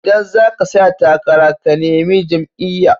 Idan zaka tsaya takara ka nemi jam'iya